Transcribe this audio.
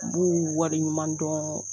B'u wale ɲuman dɔn.